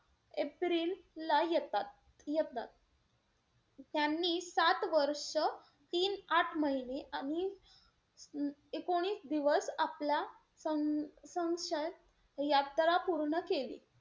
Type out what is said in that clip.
एप्रिलला येतात-येतात. त्यांनी सात वर्ष तीन आठ महिने आणि एकुणीस दिवस आपला स~ संशत यात्रा पूर्ण केली.